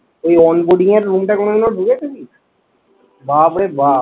ওই onboarding এর room টায় কোনোদিনও ঢুকেছিলি? বাপরে বাপ্